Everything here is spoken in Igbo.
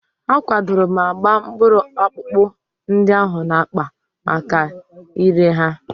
A kwadoro ma gbaa mkpụrụ ọpụpa ndị ahụ n'akpa maka ire ha.